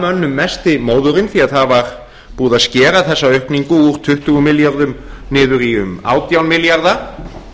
mönnum mesti móðurinn því að það var búið að skera þessa aukningu úr tuttugu milljörðum niður í um átján milljarða